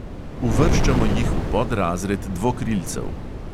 Uvrščamo jih v podrazred dvokrilcev.